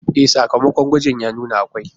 E, sakamakon gwaji ya nuna akwai